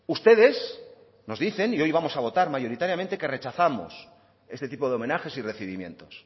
ustedes nos dicen y hoy vamos a votar mayoritariamente que rechazamos este tipo de homenajes y recibimientos